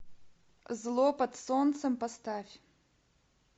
зло под солнцем поставь